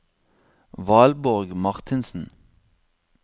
Valborg Marthinsen